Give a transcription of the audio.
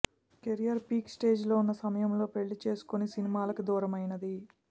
career peak స్టేజిలో ఉన్న సమయంలో పెళ్లి చేసుకొని సినిమాలకి దూరమైనది